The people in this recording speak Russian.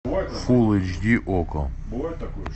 фулл эйч ди окко